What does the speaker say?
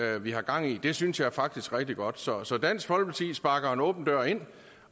vi har gang i det synes jeg faktisk er rigtig godt så så dansk folkeparti sparker en åben dør ind